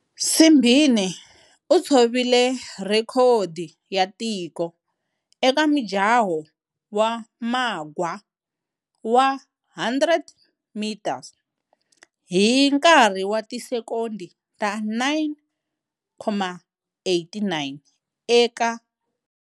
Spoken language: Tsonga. Simbine u tshovile rhekhodi ya tiko eka mujaho wa magwa wa 100 m hi nkarhi wa ti sekondi ta 9.89 eka.